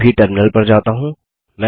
मैं अभी टर्मिनल पर जाता हूँ